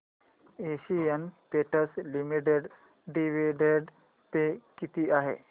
Asian Paints limited dividend pay किती आहे